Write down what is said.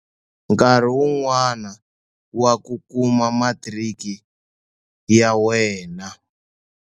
Nkarhi wun'wana wa ku kuma matiriki ya wena.